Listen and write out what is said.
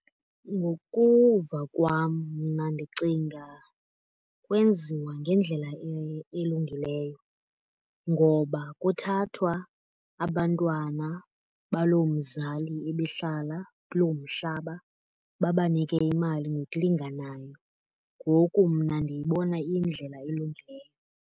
Ngokuva kwam mna ndicinga kwenziwa ngendlela elungileyo. Ngoba kuthathwa abantwana baloo mzali ebehlala kuloo mhlaba babanike imali ngokulinganayo. Ngoku mna ndiyibona iyindlela elungileyo.